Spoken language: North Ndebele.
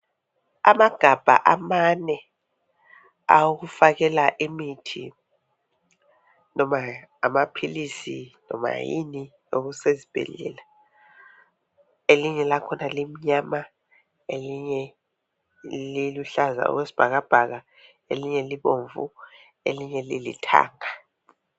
Amagabha amane awokufakela imithi loba amaphilisi loma yini ekusesibhedlela elinye lakhona limnyama elinye liluhlaza okwesibhakabhaka elinye libomvu elinye lilithanga